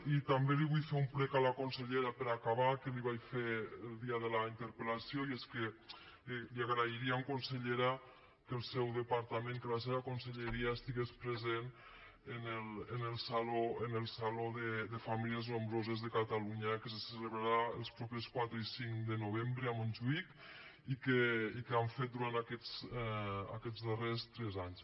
i també li vull fer un prec a la consellera per acabar que l’hi vaig fer el dia de la interpel·lació i és que li agrairíem consellera que el seu departament que la seva conselleria estigués present en el saló de famílies nombroses de catalunya que se celebrarà els propers quatre i cinc de novembre a montjuïc i que han fet durant aquests darrers tres anys